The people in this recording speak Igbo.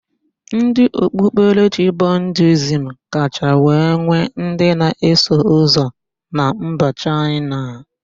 Ndị okpukpere Budiizm kacha wee nwee ndị na-eso ụzọ na mba Chaịna.